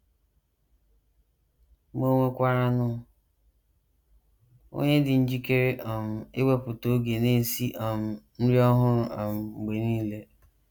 Ma ò nwekwaranụ onye dị njikere um iwepụta oge na - esi um nri ọhụrụ um mgbe nile?